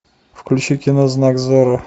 включи кино знак зорро